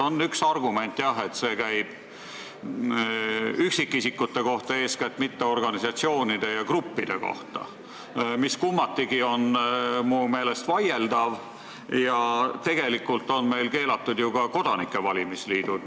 On üks argument, jah, et see käib eeskätt üksikisikute kohta, mitte organisatsioonide ja gruppide kohta, mis kummatigi on minu meelest vaieldav, ja tegelikult on meil keelatud ju ka kodanike valimisliidud.